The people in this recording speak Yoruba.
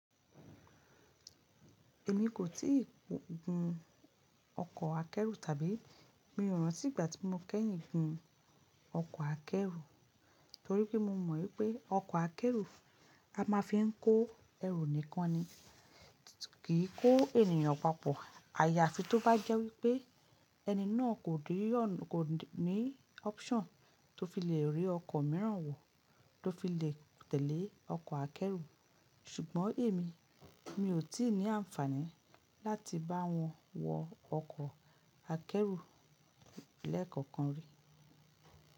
Èmi kò tíì gun ọkọ̀ akẹ́rù tàbí mi ò ràn tí ìgbà tí mo kẹ́yìn gbin ọkọ̀ akẹ́rù torí pé mo mọ̀ wípé ọkọ̀ akẹ́rù a máa fi ń kó ẹrù nìkan ni, kì í kó ènìyàn papọ̀. Àyàfi tó bá jẹ́ wípé ẹni náà kò ní option tó fi le rí ọkọ̀ mìíràn wò tó fi le tẹ̀lé ọkọ̀ akẹ́rù. Ṣùgbọ́n èmi, mi ò tí ì ní àǹfààní láti bá wọn wọ ọkọ̀ akẹ́rù lẹ́ẹ̀kọ̀kan rí.